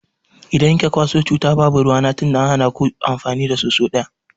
Idan kika kwaso cuta babu ruwana tunda an hana ku amfani da soso daya.